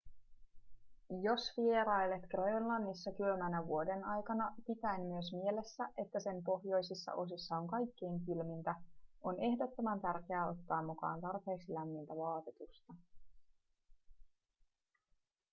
jos vierailet grönlannissa kylmänä vuodenaikana pitäen myös mielessä että sen pohjoisissa osissa on kaikkein kylmintä on ehdottoman tärkeää ottaa mukaan tarpeeksi lämmintä vaatetusta